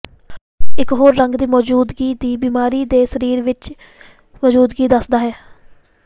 ਇਕ ਹੋਰ ਰੰਗ ਦੀ ਮੌਜੂਦਗੀ ਦੀ ਬਿਮਾਰੀ ਦੇ ਸਰੀਰ ਵਿੱਚ ਮੌਜੂਦਗੀ ਦੱਸਦਾ ਹੈ